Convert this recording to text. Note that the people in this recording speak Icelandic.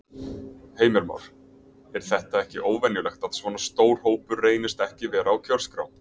Heimir Már: Er þetta ekki óvenjulegt, að svona stór hópur reynist ekki vera á kjörskrá?